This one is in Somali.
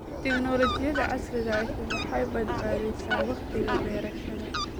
Tignoolajiyada casriga ahi waxay badbaadisaa wakhtiga beerashada.